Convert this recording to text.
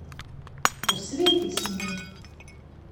Posveti se mi.